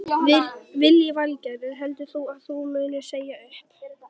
Lillý Valgerður: Heldur þú að þú munir segja upp?